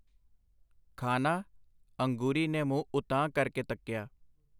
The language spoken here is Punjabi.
ਖਾਨਾ ?” ਅੰਗੂਰੀ ਨੇ ਮੂੰਹ ਉਤਾਂਹ ਕਰ ਕੇ ਤੱਕਿਆ.